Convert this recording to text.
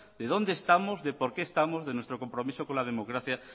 de dónde estamos de por qué estamos de nuestro compromiso con la democracia